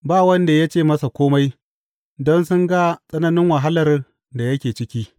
Ba wanda ya ce masa kome, don sun ga tsananin wahalar da yake ciki.